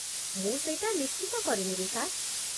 ମୁଁ ସେଇଟା ନିଶ୍ଚିତ କରିନେବି, ସାର୍ ।